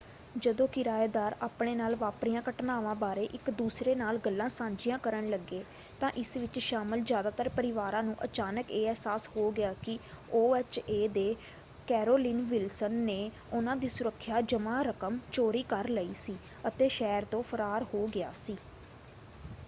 ਜਦੋਂ ਕਿਰਾਏਦਾਰ ਆਪਣੇ ਨਾਲ ਵਾਪਰੀਆਂ ਘਟਨਾਵਾਂ ਬਾਰੇ ਇੱਕ ਦੂਸਰੇ ਨਾਲ ਗੱਲਾਂ ਸਾਂਝੀਆਂ ਕਰਨ ਲੱਗੇ ਤਾਂ ਇਸ ਵਿੱਚ ਸ਼ਾਮਲ ਜ਼ਿਆਦਾਤਰ ਪਰਿਵਾਰਾਂ ਨੂੰ ਅਚਾਨਕ ਇਹ ਅਹਿਸਾਸ ਹੋ ਗਿਆ ਕਿ ਓ.ਐੱਚ.ਏ. ਦੇ ਕੈਰੋਲਿਨ ਵਿਲਸਨ ਨੇ ਉਨ੍ਹਾਂ ਦੀ ਸੁਰੱਖਿਆ ਜਮ੍ਹਾ ਰਕਮ ਚੋਰੀ ਕਰ ਲਈ ਸੀ ਅਤੇ ਸ਼ਹਿਰ ਤੋਂ ਫਰਾਰ ਹੋ ਗਿਆ ਸੀ।